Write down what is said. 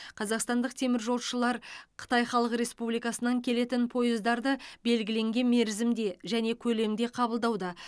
қазақстандық теміржолшылар қытай халық республикасынан келетін пойыздарды белгіленген мерзімде және көлемде қабылдауда